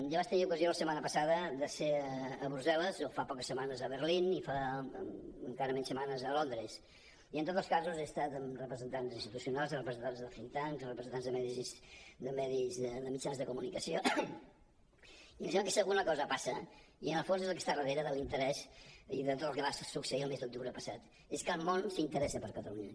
jo vaig tenir ocasió la setmana passada de ser a brussel·les o fa poques setmanes a berlín i fa encara menys setmanes a londres i en tots els casos he estat amb representants institucionals representants de thinks tanks representants de mitjans de comunicació i em sembla que si alguna cosa passa i en el fons és el que està darrera de l’interès i de tot el que va succeir el mes d’octubre passat és que el món s’interessa per catalunya